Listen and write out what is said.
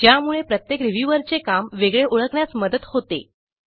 ज्यामुळे प्रत्येक रिव्ह्यूअरचे काम वेगळे ओळखण्यास मदत होते